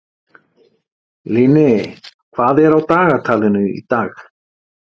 Líni, hvað er á dagatalinu í dag?